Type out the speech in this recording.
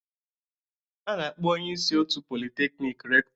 A na-akpọ onye isi otu Polytechnic Rector